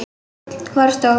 Varð stór.